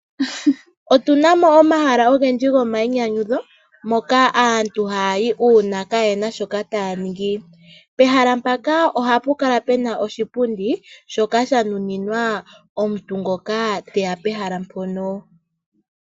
Otunamo omahala ogendji gomayinyanyudho moka aantu haya yi uuna kayena shoka taya ningi. Pehala mpaka ohapu kala pena oshipundi shoka sha nuninwa omuntu ngoka teya pehala mpono.